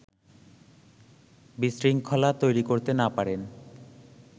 বিশৃঙ্খলা তৈরি করতে না-পারেন